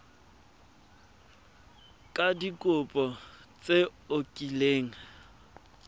ka dikopo tse o kileng